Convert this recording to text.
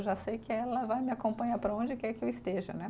Eu já sei que ela vai me acompanhar para onde quer que eu esteja, né?